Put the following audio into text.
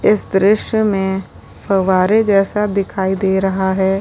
इस दृश्य में फव्वारे जैसा दिखाई दे रहा है।